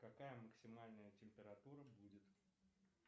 какая максимальная температура будет